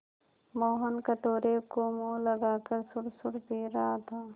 मोहन कटोरे को मुँह लगाकर सुड़सुड़ पी रहा था